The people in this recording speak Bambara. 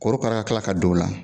Korokara ka kila ka don o la,